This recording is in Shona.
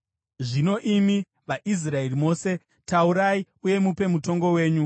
Zvino, imi vaIsraeri mose, taurai uye mupe mutongo wenyu.”